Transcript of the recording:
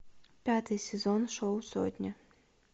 пятый сезон шоу сотня